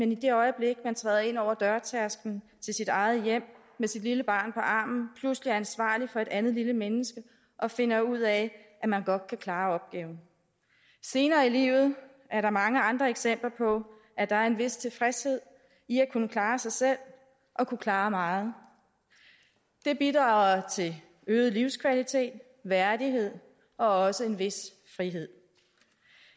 det øjeblik man træder ind over dørtærskelen til sit eget hjem med sit lille barn på armen pludselig er ansvarlig for et andet lille menneske og finder ud af at man godt kan klare opgaven senere i livet er der mange andre eksempler på at der er en vis tilfredshed i at kunne klare sig selv og kunne klare meget det bidrager til øget livskvalitet værdighed og også en vis frihed